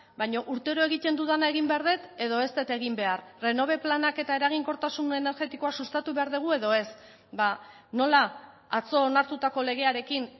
baina urtero egiten dudana egin behar dut edo ez dut egin behar renove planak eta eraginkortasun energetikoa sustatu behar dugu edo ez nola atzo onartutako legearekin